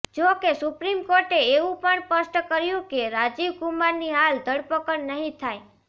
જો કે સુપ્રીમ કોર્ટે એવું પણ સ્પષ્ટ કર્યું કે રાજીવ કુમારની હાલ ધરપકડ નહીં થાય